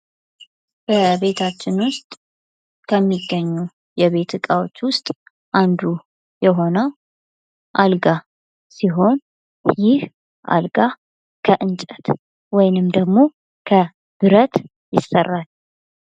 በቤታችን ዉስጥ ከሚገኙ የቤት እቃዎች ዉስጥ አንዱ የሆነው አልጋ ሲሆን ይህ አልጋ ከእንጨት ወይንም ደግሞ ከብረት ይሰራል::